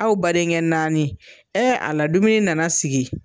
Aw badenkɛ naani ɛɛ ala dumuni nana sigi